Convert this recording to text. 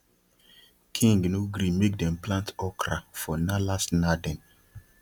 king no gree make dem plant okra for nalace narden